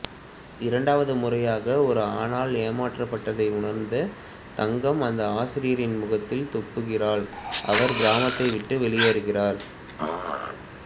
இரண்டாவது முறையாக ஒரு ஆணால் ஏமாற்றபட்டதை உணர்ந்த தங்கம் அந்த ஆசிரியரின் முகத்தில் துப்புகிறாள் அவர் கிராமத்தை விட்டு வெளியேறுகிறார்